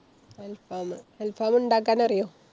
അല്‍ഫാമു. അല്‍ഫാമ് ഇണ്ടാക്കാനറിയോ?